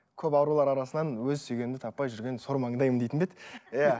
көп арулар арасынан өз сүйгенімді таппай жүрген сор маңдаймын дейтін бе еді иә